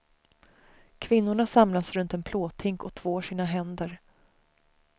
Kvinnorna samlas runt en plåthink och tvår sina händer.